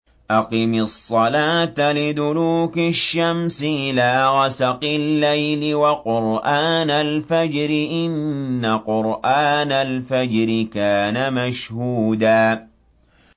أَقِمِ الصَّلَاةَ لِدُلُوكِ الشَّمْسِ إِلَىٰ غَسَقِ اللَّيْلِ وَقُرْآنَ الْفَجْرِ ۖ إِنَّ قُرْآنَ الْفَجْرِ كَانَ مَشْهُودًا